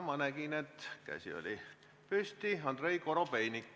Ma nägin, et käsi oli püsti Andrei Korobeinikul.